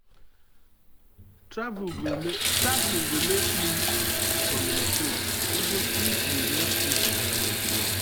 travel go make you communicate even if you no speak the language well.